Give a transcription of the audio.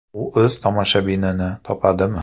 U o‘z tomoshabinini topadimi?